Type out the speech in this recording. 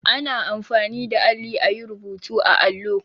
Ana anfani da alli a yi rubutu a allo.